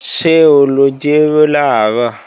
Ṣé o lọ jéró làárọ̀?